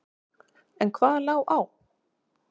En hvað lá á?